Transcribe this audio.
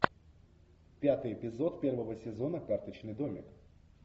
пятый эпизод первого сезона карточный домик